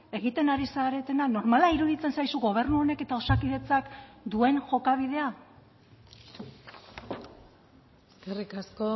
egiten ari zaretena normala iruditzen zaizu gobernu honek eta osakidetzak duen jokabidea eskerrik asko